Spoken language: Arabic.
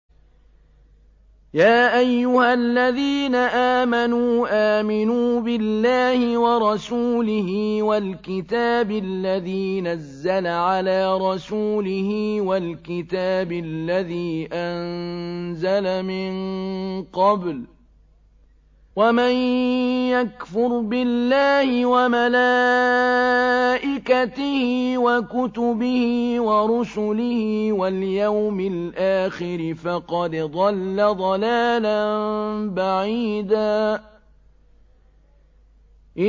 يَا أَيُّهَا الَّذِينَ آمَنُوا آمِنُوا بِاللَّهِ وَرَسُولِهِ وَالْكِتَابِ الَّذِي نَزَّلَ عَلَىٰ رَسُولِهِ وَالْكِتَابِ الَّذِي أَنزَلَ مِن قَبْلُ ۚ وَمَن يَكْفُرْ بِاللَّهِ وَمَلَائِكَتِهِ وَكُتُبِهِ وَرُسُلِهِ وَالْيَوْمِ الْآخِرِ فَقَدْ ضَلَّ ضَلَالًا بَعِيدًا